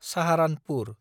Saharanpur